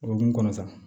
O hukumu kɔnɔ sa